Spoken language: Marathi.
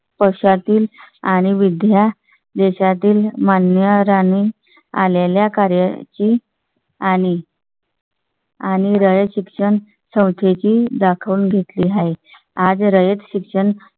पक्षातील आणि विद्या देशातील मान्यवरांनी आलेल्या कार्याची आणि . आणि रयत शिक्षण संस्थेची दाखव घेतली आहे. आज रयत शिक्षण